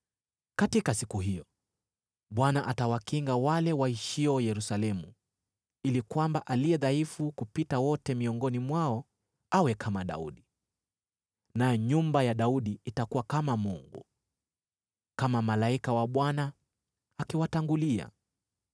Katika siku hiyo, Bwana atawakinga wale waishio Yerusalemu, ili kwamba aliye dhaifu kupita wote miongoni mwao awe kama Daudi, nayo nyumba ya Daudi itakuwa kama Mungu, kama Malaika wa Bwana akiwatangulia.